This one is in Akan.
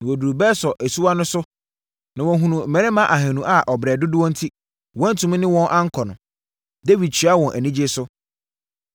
Na wɔduruu Besor asuwa no so na wɔhunuu mmarima ahanu a ɔbrɛ dodoɔ enti, wɔantumi ne wɔn ankɔ no. Dawid kyeaa wɔn anigyeɛ so.